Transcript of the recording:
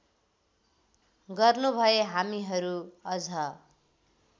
गर्नुभए हामीहरू अझ